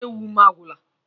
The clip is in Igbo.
Isi ewu m agwụla.